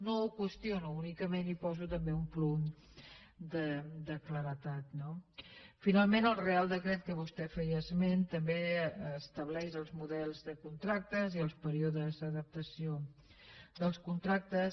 no ho qüestiono únicament hi poso també un punt de claredat no finalment el reial decret de què vostè feia esment també estableix els models de contractes i els períodes d’adaptació dels contractes